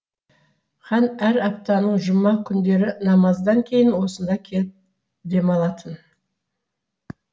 хан әр аптаның жұма күндері намаздан кейін осында келіп демалатын